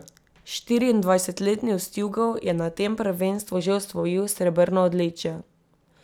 Štiriindvajsetletni Ustjugov je na tem prvenstvu že osvojil srebrno odličje.